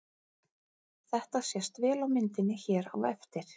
Þetta sést vel á myndinni hér á eftir.